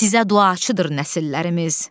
Sizə duacıdır nəsillərimiz.